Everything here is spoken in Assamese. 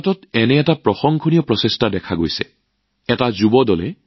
তেনে এক প্ৰশংসনীয় প্ৰচেষ্টা ছুৰাটত পৰ্যবেক্ষণ কৰা হৈছে